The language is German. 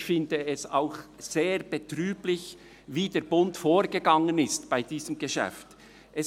Ich finde es auch sehr betrüblich, wie der Bund in diesem Geschäft vorgegangen ist.